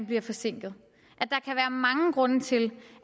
bliver forsinket at mange grunde til